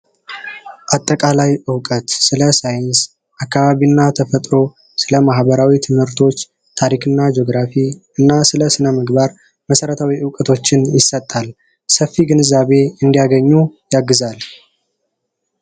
አጠቃላይ እውቀት/ጄነራል ሳይንስ አካባቢና ተፈጥሮን፣ ስለ ማህበራዊ ትምህርቶች፣ ታሪክና ጂኦግራፊ እና ስነምግባር መሰረታዊ እውቀቶችን ይሰጣል፤ ሰፊ ግንዛቤ እንዳገኙ ያግዛል።